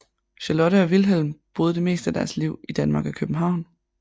Charlotte og Wilhelm boede det meste af deres liv i Danmark og København